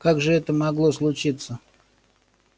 как же это могло случиться